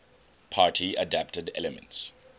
party adapted elements